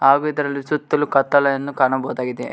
ಹಾಗೂ ಇದರಲ್ಲಿ ಸುತ್ತಲೂ ಕತ್ತಲೆಯನ್ನು ಕಾಣಬಹುದಾಗಿದೆ.